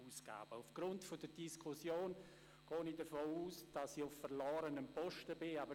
Aufgrund der Diskussion gehe ich davon aus, dass ich damit auf verlorenem Posten stehe.